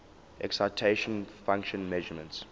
excitation function measurements